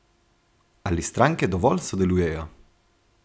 Ali stranke dovolj sodelujejo?